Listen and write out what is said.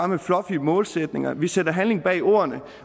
med fluffy målsætninger vi sætter handling bag ordene